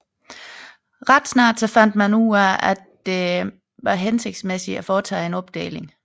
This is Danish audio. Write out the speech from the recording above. Ret snart fandt man det hensigtsmæssigt at foretage en opdeling